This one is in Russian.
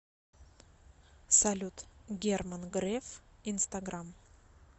салют герман греф инстаграм